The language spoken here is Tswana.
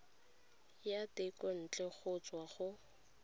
ya thekontle go tswa go